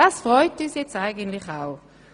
Das freut uns eigentlich auch.